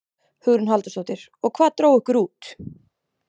Hugrún Halldórsdóttir: Og hvað dró ykkur út?